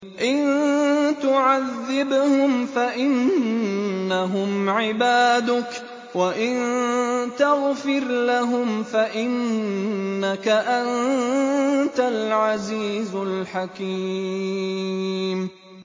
إِن تُعَذِّبْهُمْ فَإِنَّهُمْ عِبَادُكَ ۖ وَإِن تَغْفِرْ لَهُمْ فَإِنَّكَ أَنتَ الْعَزِيزُ الْحَكِيمُ